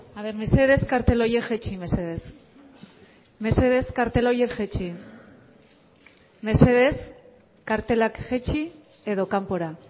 aber mesedez kartel horiek jaitsi mesedez mesedez kartel horiek jaitsi mesedez kartelak jaitsi edo kanpora